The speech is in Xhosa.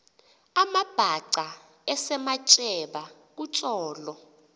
amabhaca esematyeba kutsolo